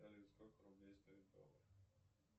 салют сколько рублей стоит доллар